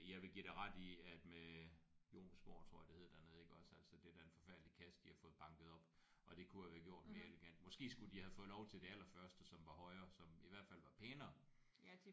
Jeg vil give dig ret i at med Jomsborg tror jeg det hed dernede iggås altså det er da en forfærdelig kasse de har fået banket op og det kunne have være gjort mere elegant. Måske skulle de have fået lov til det allerførste som var højere som i hvert fald var pænere